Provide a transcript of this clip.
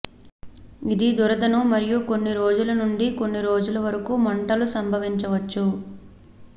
ఇది దురదను మరియు కొన్ని రోజుల నుండి కొన్ని రోజులు వరకు మంటలు సంభవించవచ్చు